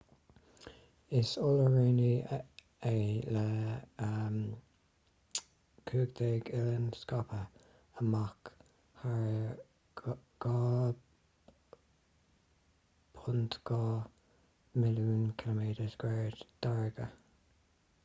is oileánra é le 15 oileán scaipthe amach thar 2.2 milliún km2 d'fharraige